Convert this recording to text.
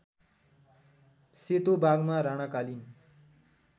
सेतो बाघमा राणाकालिन